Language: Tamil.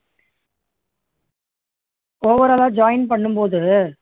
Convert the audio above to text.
overall ஆ join பண்ணும் போது